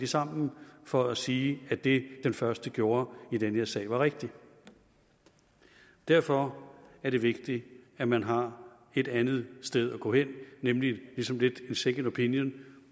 sammen for at sige at det den første gjorde i den her sag var rigtigt derfor er det vigtigt at man har et andet sted at gå hen nemlig ligesom lidt en second opinion